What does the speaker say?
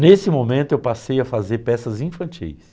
Nesse momento eu passei a fazer peças infantis.